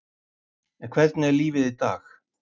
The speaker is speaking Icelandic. En hvernig er lífið í dag?